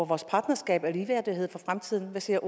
vores partnerskab og ligeværdighed for fremtiden hvad siger